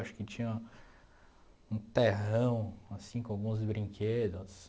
Acho que tinha um terrão assim com alguns brinquedos.